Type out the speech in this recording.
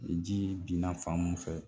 Ni ji binna fan mun fɛ